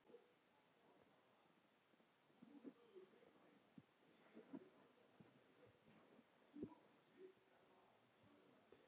Hellið yfir hafrana og berin.